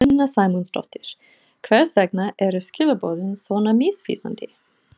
Sunna Sæmundsdóttir: Hvers vegna eru skilaboðin svona misvísandi?